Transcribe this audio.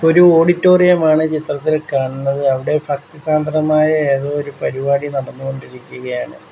ഒരു ഓഡിറ്റോറിയം ആണ് ചിത്രത്തിൽ കാണുന്നത് അവിടെ ഫക്തിസാന്ദ്രമായ ഏതോ ഒരു പരിപാടി നടന്നു കൊണ്ടിരിക്കുകയാണ്.